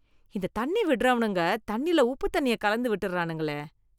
இந்த தண்ணி விடுறவுனுங்க தண்ணில உப்பு தண்ணிய கலந்து விட்டறானுங்களே.